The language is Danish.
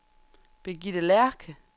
Birgitte Lerche